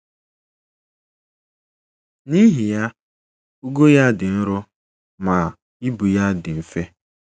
N'ihi ya, ugo ya dị nro ma ibu ya dị mfe